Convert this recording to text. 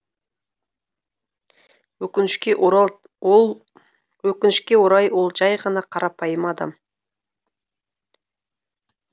өкінішке өкінішке орай ол жәй ғана қарапайым адам